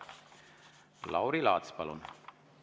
Lauri Laats, palun!